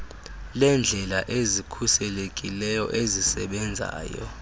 leendlela ezikhuselekileyo ezisebenzayo